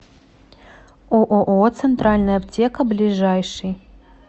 ооо центральная аптека ближайший